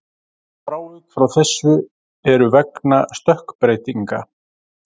Frávik frá þessu eru vegna stökkbreytinga.